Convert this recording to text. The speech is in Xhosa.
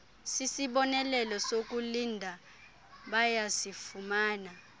sisibonelelo sokulinda bayasifumana